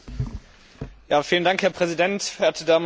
Herr Präsident, verehrte Damen und Herren Abgeordnete!